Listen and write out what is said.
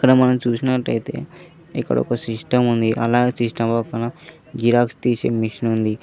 మనం చూసినట్టయితే ఇక్కడ ఒక సిస్టం ఉంది అలాగే సిస్టం జిరాక్స్ తీసి మిషన్ ఉంది.